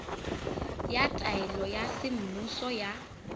ya taelo ya semmuso ya